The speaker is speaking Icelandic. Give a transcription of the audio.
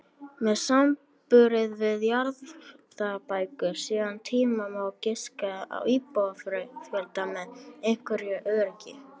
Með samanburði við jarðabækur síðari tíma má giska á íbúafjölda með einhverju öryggi.